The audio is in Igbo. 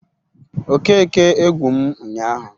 Okeke egwu m ụnyaahụ